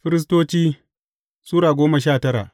Firistoci Sura goma sha tara